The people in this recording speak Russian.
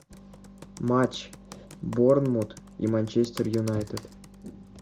матч борнмут и манчестер юнайтед